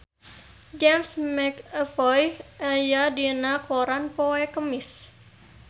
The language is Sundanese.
James McAvoy aya dina koran poe Kemis